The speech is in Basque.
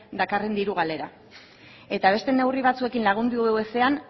dakarren diru galera eta beste neurri batzuekin lagundu ezean